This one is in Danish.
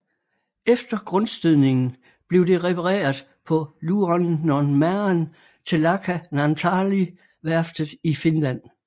Efter grundstødningen blev det repareret på Luonnonmaan Telakka Naantali værftet i Finland